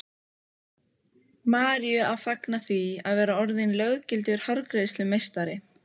Maríu að fagna því að vera orðin löggildur hárgreiðslumeistari.